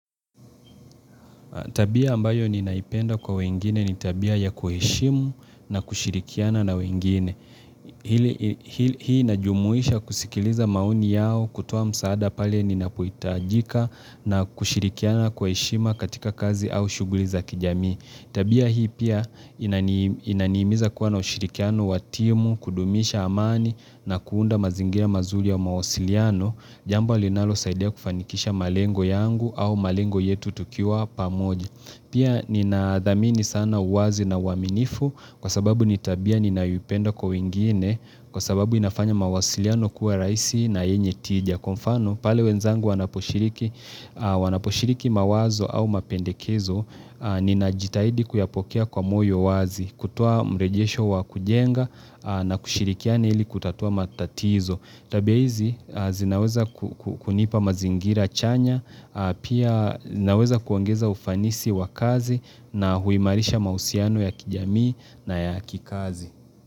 Tabia ambayo ninaipenda kwa wengine ni tabia ya kuheshimu na kushirikiana na wengine ili. Hii inajumuisha kusikiliza maoni yao kutoa msaada pale ninapohitajika na kushirikiana kwa heshima katika kazi au shughuli za kijamii. Tabia hii pia inanihimiza kuwa na ushirikiano wa timu, kudumisha amani na kuunda mazingira mazuri ya mawasiliano. Jambo linalosaidia kufanikisha malengo yangu au malengo yetu tukiwa pamoja Pia ninadhamini sana uwazi na uaminifu kwa sababu ni tabia ninayoipenda kwa wengine Kwa sababu inafanya mawasiliano kuwa rahisi na yenye tija kwa mfano pale wenzangu wanaposhiriki wanaposhiriki mawazo au mapendekezo Ninajitahidi kuyapokea kwa moyo wazi kutoa mrejesho wa kujenga na kushirikiana ili kutatua matatizo Tabia hizi, zinaweza kunipa mazingira chanya, pia naweza kuongeza ufanisi wa kazi na huimarisha mahusiano ya kijamii na ya kikazi.